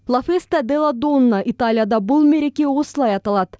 ла феста дела донна италияда бұл мереке осылай аталады